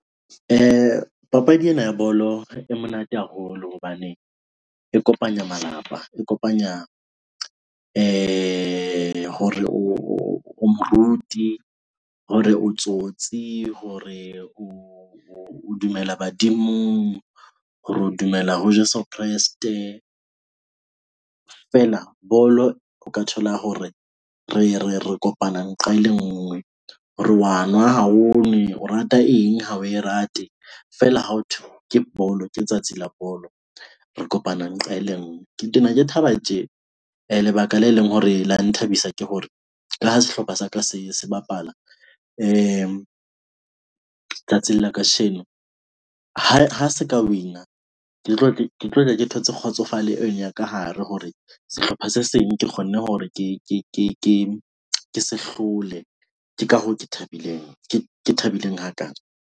Papadi ena ya bolo e monate haholo hobane e kopanya malapa, e kopanya hore o moruti hore o tsotsi hore o dumela badimong hore o dumela ho Jeso Kreste. Feela bolo o ka thola hore re re re kopana nqa e le ngwe hore wa nwa ha o nwe, o rata eng ha o e rate. Feela ha ho thwe ke bolo ke tsatsi la bolo, re kopanang nqa e le ngwe. Ke tena Ke thaba tje lebaka le leng hore la nthabisa ke hore ka ha sehlopha sa ka se se bapala tsatsing la Kasheno. Ha ha se ka win-a ke tlo ke tlo tla ke thotse kgotsofale eng ya ka hare hore sehlopha se seng Ke kgonne hore ke ke ke ke ke se hlole, ke ka hoo ke thabileng, ke ke thabileng hakaana.